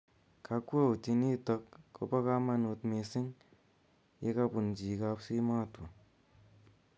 kakwautinito ko po kamanut missing ye kapun chi kapsimotwo